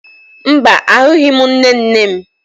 Mba, ahụghị m nne nne m